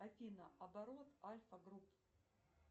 афина оборот альфа групп